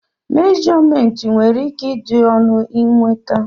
mèjọmèntị nwere ike ịdị ọnụ nweta